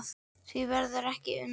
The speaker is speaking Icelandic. Því verður ekki unað lengur.